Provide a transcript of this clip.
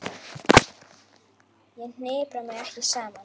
Ég hnipra mig ekki saman.